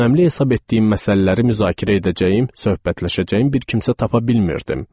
Önəmli hesab etdiyim məsələləri müzakirə edəcəyim, söhbətləşəcəyim bir kimsə tapa bilmirdim.